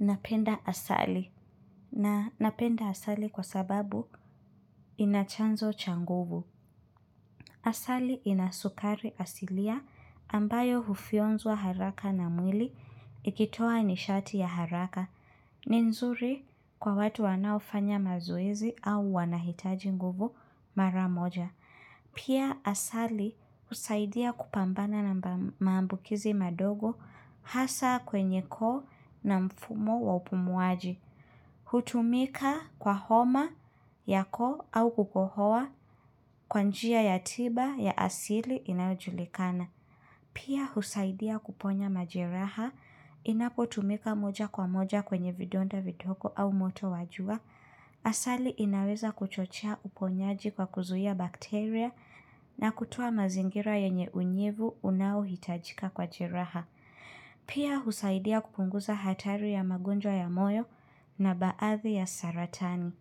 Napenda asali. Na napenda asali kwa sababu inachanzo cha nguvu. Asali inasukari asilia ambayo hufionzwa haraka na mwili ikitoa nishati ya haraka. Ni nzuri kwa watu wanaofanya mazoezi au wanahitaji nguvu mara moja. Pia asali husaidia kupambana na maambukizi madogo hasa kwenye koo na mfumo wa upumuaji. Hutumika kwa homa ya koo au kukohoa kwanjia ya tiba ya asili inayojulikana. Pia husaidia kuponya majeraha inapotumika moja kwa moja kwenye vidonda vidogo au moto wa jua au asali inaweza kuchochea uponyaji kwa kuzuhia bakteria na kutoa mazingira yenye unyevu unao hitajika kwa jiraha. Pia husaidia kupunguza hatari ya magunjwa ya moyo na baathi ya saratani.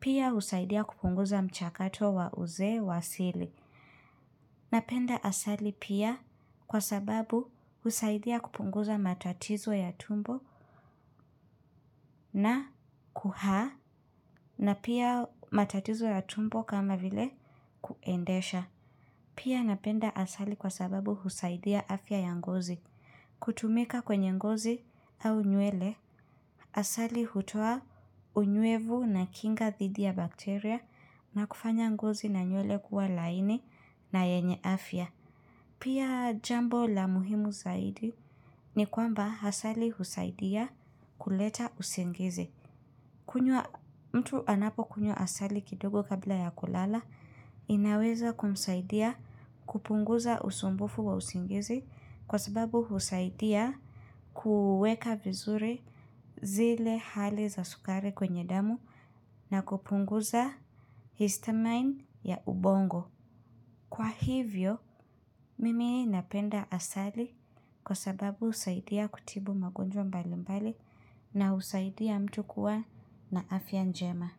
Pia husaidia kupunguza mchakato wa uzee wa sili. Napenda asali pia kwa sababu husaidia kupunguza matatizo ya tumbo na kuhaa na pia matatizo ya tumbo kama vile kuendesha. Pia napenda asali kwa sababu husaidia afya ya ngozi. Kutumika kwenye ngozi au nywele. Asali hutoa unyuevu na kinga thidi ya bakteria na kufanya ngozi na nyuele kuwa laini na yenye afya. Pia jambo la muhimu zaidi ni kwamba hasali husaidia kuleta usingizi. Kunywa mtu anapo kunywa asali kidogo kabla ya kulala, inaweza kumsaidia kupunguza usumbufu wa usingizi kwa sababu husaidia kuweka vizuri zile hali za sukari kwenye damu na kupunguza histamine ya ubongo. Kwa hivyo, mimi napenda asali kwa sababu husaidia kutibu magonjwa mbali mbali na husaidia mtu kuwa na afya njema.